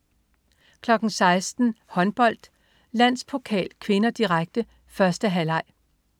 16.00 Håndbold: Landspokal (k), direkte. 1. halvleg